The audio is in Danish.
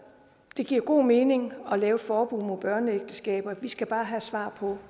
det giver god mening at lave et forbud mod børneægteskaber vi skal bare have svar på